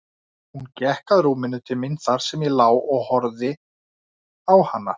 Hún gekk að rúminu til mín þar sem ég lá og horfði á hana.